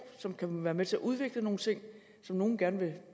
som kan være med til at udvikle nogle ting som nogle gerne vil